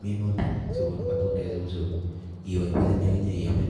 minutik chekonu matundek cheu chu iboiboinchini akinye iame.